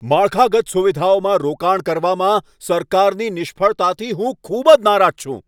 માળખાગત સુવિધાઓમાં રોકાણ કરવામાં સરકારની નિષ્ફળતાથી હું ખૂબ જ નારાજ છું.